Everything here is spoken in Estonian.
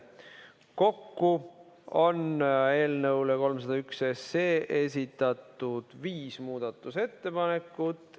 Kokku on eelnõu 301 kohta esitatud viis muudatusettepanekut.